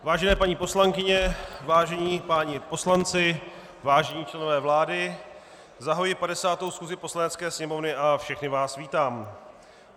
Vážené paní poslankyně, vážení páni poslanci, vážení členové vlády, zahajuji 50. schůzi Poslanecké sněmovny a všechny vás vítám.